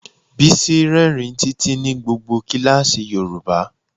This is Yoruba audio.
Bísí rírìn títí ní gbogbo kíláàsì yoruba.